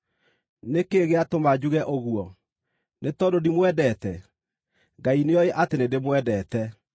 Nĩ kĩĩ gĩatũma njuge ũguo? Nĩ tondũ ndimwendete? Ngai nĩoĩ atĩ nĩndĩmwendete!